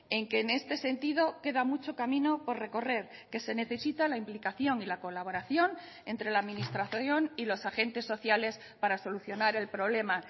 en que en este sentido queda mucho camino por recorrer que se necesita la implicación y la colaboración entre la administración y los agentes sociales para solucionar el problema